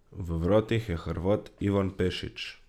V vratih je Hrvat Ivan Pešić.